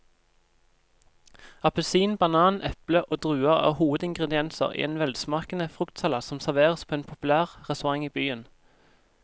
Appelsin, banan, eple og druer er hovedingredienser i en velsmakende fruktsalat som serveres på en populær restaurant i byen.